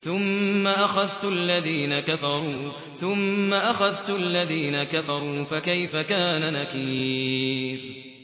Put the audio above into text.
ثُمَّ أَخَذْتُ الَّذِينَ كَفَرُوا ۖ فَكَيْفَ كَانَ نَكِيرِ